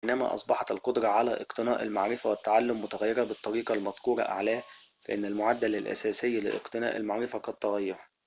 بينما أصبحت القدرة على اقتناء المعرفة والتعلم متغيرة بالطريقة المذكورة أعلاه فإن المعدل الأساسي لاقتناء المعرفة قد تغير